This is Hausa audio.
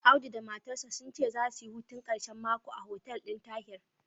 Audu da matarsa sun ce zasu yi hutun ƙarshen mako a hotel ɗin Tahir.